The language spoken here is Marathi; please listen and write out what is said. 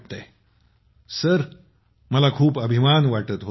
प्रगतीः सर मला खूप अभिमान वाटत होता